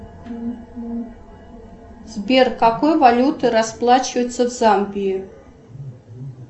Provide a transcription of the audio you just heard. сбер какой валютой расплачиваются в замбии